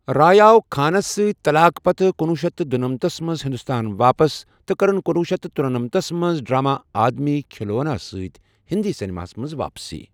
رائے آو خانَس سۭتۍ طلاق پتہٕ کنۄہ شیتھ تہٕ دۄنمتَتھس منٛز ہندوستان واپس تہٕ کٔرٕنۍکنۄہ شیتھ تہٕ ترونمَتھس منٛز ڈرامہ' آدمی کھلونا' سۭتۍ ہندی سنیما ہَس منٛز واپسی۔